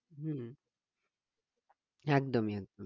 হম একদমই একদমই